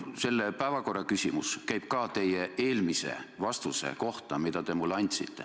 See päevakorras olev küsimus puudutab üht teie kunagist vastust mulle.